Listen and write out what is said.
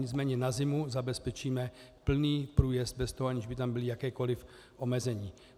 Nicméně na zimu zabezpečíme plný průjezd bez toho, aniž by tam byla jakákoli omezení.